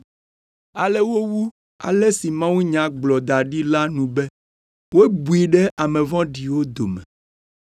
Ale wowu ale si mawunya gblɔ da ɖi la nu be, “Wobui ɖe ame vɔ̃ɖiwo dome.”